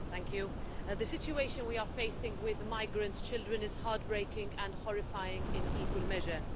Mr President, the situation we are facing with the migrant children is heart breaking and horrifying in equal measure.